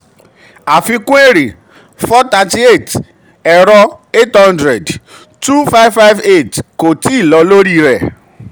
àfikún èrè: four thirty eight; ẹ̀rọ: eight hundred; two five five eight kò tíì lọ lórí rẹ̀.